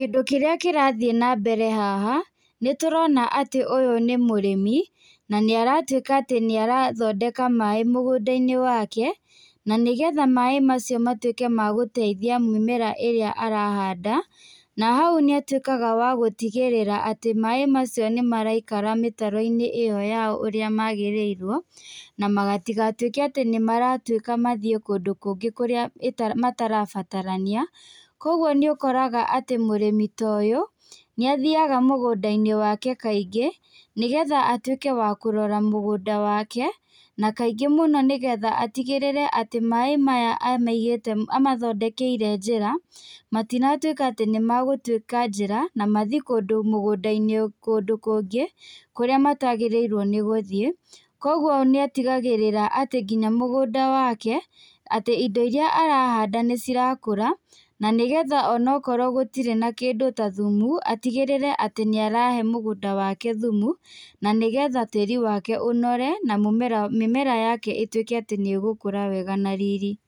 Kĩrĩa kĩrathiĩ na mbere haha nĩ tũrona atĩ ũyũ nĩ mũrĩmi na nĩ aratuĩka atĩ nĩ arathondeka maĩ mũgũnda-inĩ wake na nĩgetha maĩ macio matuĩke ma gũteithia mũmera ĩrĩa arahanda, na hau nĩ atuĩkaga wa gũtigĩrĩra atĩ maĩ macio nĩ maraikara mĩtaro-inĩ ĩyo ũrĩa magĩrĩirwo matigatuĩke maratuĩka mathiĩ kĩndũ kũngĩ kũrĩa matarabatarania, kwoguo nĩ ũkũraga atĩ mũrĩmi ta ũyũ nĩ athiaga mũgũnda-inĩ wake kaingĩ nĩgetha atuĩke wa kũrora mũgũnda wake na kaingĩ mũno nĩgetha atigĩrĩire atĩ maĩ maya amathondekeire njĩra matigatuĩke atĩ nĩ matua njĩra na mathiĩ kũndũ kũngĩ kũrĩa matagĩrĩirwo nĩ gũthiĩ, kwoguo nĩ atigagĩrĩra atĩ nginya mũgũnda wake atĩ indo iria arahanda nĩ cirakũra nĩgetha onakorwo gũtirĩ na kĩndũ ta thumu atigĩrĩire nĩ arahe mũgũnda wake thumu nĩgetha tĩri wake ũnore na mĩmera yake ĩtuĩke nĩ gũkũra wega na riri.